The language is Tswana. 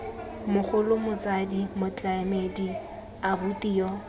mogolo motsadi motlamedi abuti yo